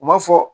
U ma fɔ